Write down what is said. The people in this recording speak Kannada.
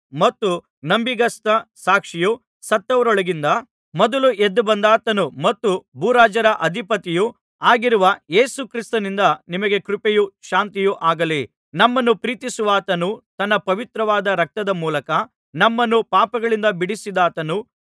ಮತ್ತು ನಂಬಿಗಸ್ತ ಸಾಕ್ಷಿಯೂ ಸತ್ತವರೊಳಗಿಂದ ಮೊದಲು ಎದ್ದುಬಂದಾತನೂ ಮತ್ತು ಭೂರಾಜರ ಅಧಿಪತಿಯೂ ಆಗಿರುವ ಯೇಸು ಕ್ರಿಸ್ತನಿಂದ ನಿಮಗೆ ಕೃಪೆಯೂ ಶಾಂತಿಯೂ ಆಗಲಿ ನಮ್ಮನ್ನು ಪ್ರೀತಿಸುವಾತನೂ ತನ್ನ ಪವಿತ್ರವಾದ ರಕ್ತದ ಮೂಲಕ ನಮ್ಮನ್ನು ಪಾಪಗಳಿಂದ ಬಿಡಿಸಿದಾತನೂ